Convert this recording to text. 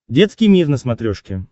детский мир на смотрешке